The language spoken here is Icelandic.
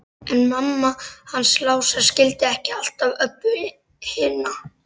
En mamma hans Lása skildi ekki alltaf Öbbu hina.